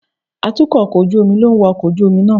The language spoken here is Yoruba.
Atukọ̀ ojú omi ló ń wa ọkọ̀ ojú omi náà.